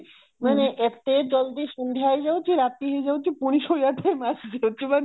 ମାନେ ଏତେ ଜଲ୍ଦି ସନ୍ଧ୍ୟା ହେଇଯାଉଛି ରାତି ହେଇଯାଉଛି ପୁଣି ସୋଇଆ ବେଳ ଆସି ଯାଉଛି